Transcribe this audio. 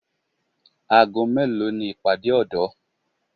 Aago mélòó ni ìpàdé ọ̀dọ́